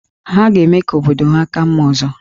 Ha ga-eme ka obodo ha ka mma ọzọ